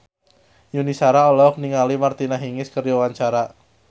Yuni Shara olohok ningali Martina Hingis keur diwawancara